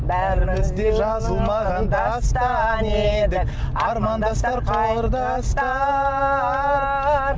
бәріміз де жазылмаған дастан едік армандастар құрдастар